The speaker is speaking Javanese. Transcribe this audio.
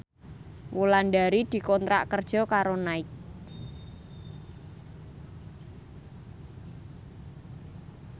Wulandari dikontrak kerja karo Nike